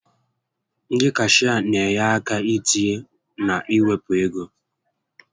Ndị cashịa n'enye àkà itinye na iwepụ égo